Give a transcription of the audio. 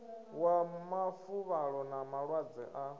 wa mafuvhalo na malwadze a